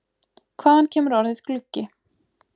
Hvaðan kemur orðið gluggi?